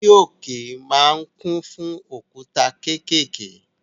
Orí òkè ma ń kún fún òkúta kékèké